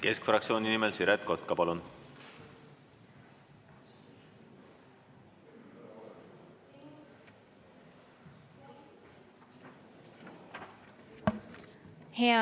Keskfraktsiooni nimel Siret Kotka, palun!